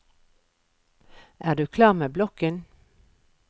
Er du klar med blokken?